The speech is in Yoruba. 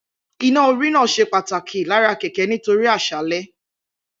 Iná-orí náà ṣe pàtàkì lára kẹ̀kẹ́ nítorí àṣálẹ́